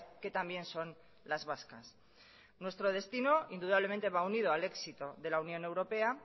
que también son las vascas nuestro destino indudablemente va unido al éxito de la unión europea